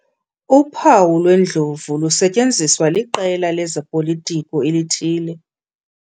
Uphawu lwendlovu lusetyenziswa liQela lezoPolitiko elithile.